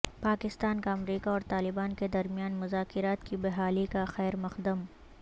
پاکستان کا امریکہ اور طالبان کے درمیان مذاکرات کی بحالی کاخیرمقد م